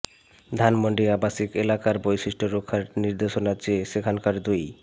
ধানমন্ডি আবাসিক এলাকার বৈশিষ্ট্য রক্ষার নির্দেশনা চেয়ে সেখানকার দুই